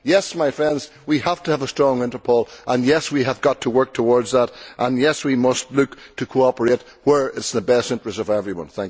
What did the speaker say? Yes, my friends, we have to have a strong Europol, yes, we have got to work towards that and, yes, we must look to cooperate where it is in the best interests of everyone.